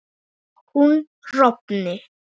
hún rofni